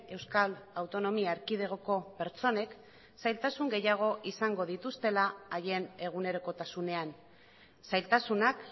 euskal autonomia erkidegoko pertsonek zailtasun gehiago izango dituztela haien egunerokotasunean zailtasunak